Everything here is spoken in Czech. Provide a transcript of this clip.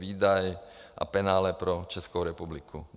Výdaj a penále pro Českou republiku.